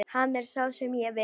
Hann er sá sem ég vil.